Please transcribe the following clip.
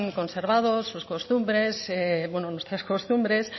conservado sus costumbres bueno nuestras costumbres